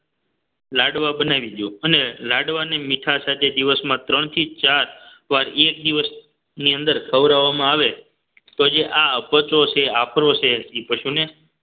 લાડવા બનાવી દો અને લાડવાની મીઠા સાથે દિવસમાં ત્રણ થી ચાર વાર એક દિવસની અંદર ખવડાવવામાં આવે તો જે આ અપચો છે આફરો એ પશુને